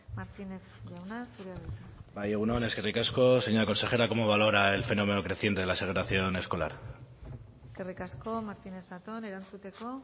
martínez jauna zurea da hitza bai egun on eskerrik asko señora consejera cómo valora el fenómeno creciente de la segregación escolar eskerrik asko martínez zatón erantzuteko